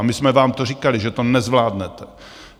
A my jsme vám to říkali, že to nezvládnete.